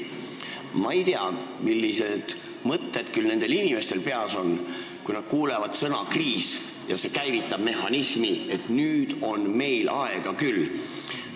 Ma ei tea, millised mõtted küll nendel inimestel peas on, kes kuulevad sõna "kriis" ja kelles see käivitab mehhanismi, et nüüd on meil aega küll.